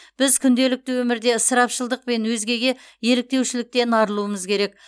біз күнделікті өмірде ысырапшылдықпен өзгеге еліктеушіліктен арылуымыз керек